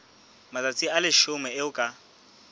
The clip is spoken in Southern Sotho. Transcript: matsatsi a leshome eo ka